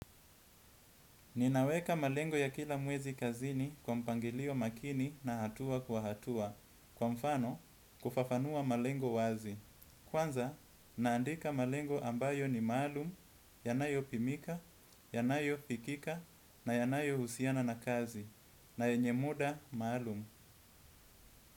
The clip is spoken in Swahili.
Ninaweka malengo ya kila mwezi kazini kwa mpangilio makini na hatua kwa hatua. Kwa mfano, kufafanua malengo wazi. Kwanza, naandika malengo ambayo ni maalum, yanayopimika, yanayofikika, na yanayohusiana na kazi. Na yenye muda maalum.